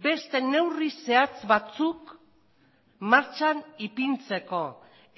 beste neurri zehatz batzuk martxan ipintzeko